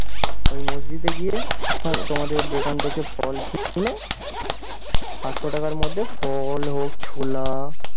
ওই মসজিদে গিয়ে তাহলে তোমাদের দোকান থেকে ফল কিনে আটশো টাকার মধ্যে ফল হোক ছোলা